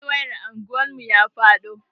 Fol wayar anguwan mu ya faɗo.